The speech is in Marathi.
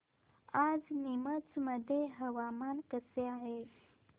आज नीमच मध्ये हवामान कसे आहे